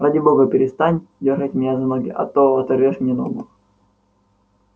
ради бога перестань дёргать меня за ноги а то оторвёшь мне ногу